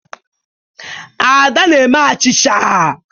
Ada na-eme achicha.